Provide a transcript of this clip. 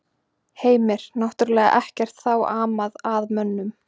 Heimir: Náttúrlega ekkert þá amað að mönnum?